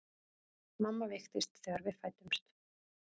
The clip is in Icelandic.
Mamma veiktist þegar við fæddumst.